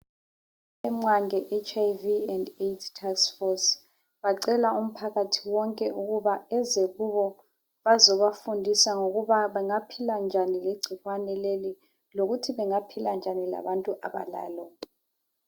IMWANGE HIV/;AIDS TASK FORCE, bacela umphakathi wonke ukuthi beze bazebafundisa ukuthi bangaphila njani legcikwane leli. Lokuthi bangaphila njani lalabo abalalo.